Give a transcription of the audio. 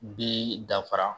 Bɛ danfara.